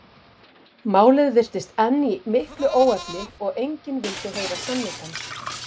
Málið virtist enn í miklu óefni og enginn vildi heyra sannleikann.